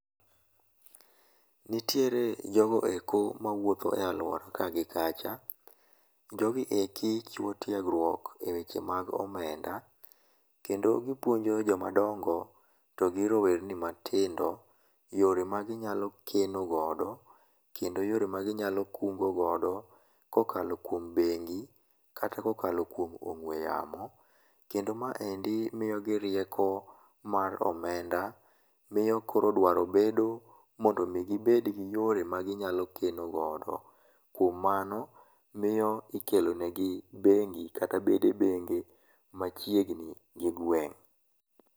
Nitiere jogo eko mawuotho e aluora ka gi kacha. Jogi eki chiwo tiegruok e weche mag omenda kendo gipuonjo joma dongo to gi rower ni matindo yore a ginyalo keno godo kendo yore a ginyalo kungo godo kokalo kuom bengi kata kokalo kuom ong'ue yamo. Kendo maendi miyogi rieko mar omenda, miyo koro dwaro bedo ni gibed gi yore ma ginyalo keno godo. Kuom mano miyo ikelo negi bengi kata bede benge machiegni gi gweng'